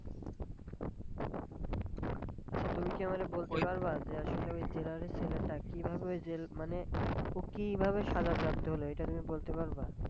আচ্ছা, তুমি কি আমারে বলতে পারবা, যে আসলে ওই যে জেলারের সেলে টা কিভাবে ওই জেল মানে ও কি সাজা প্রাপ্ত হল এটা তুমি বলতে পারবা?